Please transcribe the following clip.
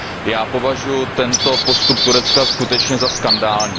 Já považuji tento postup Turecka skutečně za skandální.